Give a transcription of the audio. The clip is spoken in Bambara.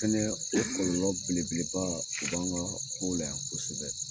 Fɛnɛ o kɔlɔlɔ belebeleba o b'an kow la yan kosɛbɛ